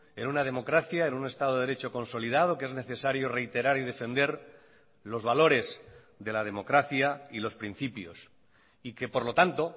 en una democracia en un estado de derecho consolidado que es necesario reiterar y defender los valores de la democracia y los principios y que por lo tanto